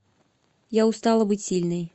я устала быть сильной